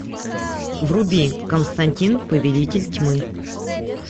вруби константин повелитель тьмы